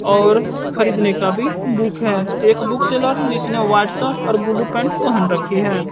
और खरीदने का भी बुक है एक बुक सेलर जिसने व्हाइट शर्ट और ब्लू पैंट पहन रखी है।